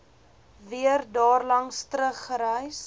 weer daarlangs teruggereis